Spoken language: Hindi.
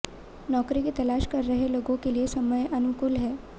नौकरी की तलाश कर रहे लोगों के लिए समय अनुकूल है